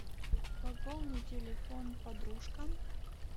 пополни телефон подружка